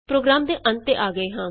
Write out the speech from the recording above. programme ਦੇ ਅੰਤ ਤੇ ਆ ਰਹੇ ਹਾਂ